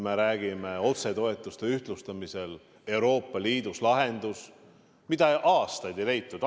Ma räägin otsetoetuste ühtlustamisest Euroopa Liidus – see on lahendus, mida aastaid ei leitud.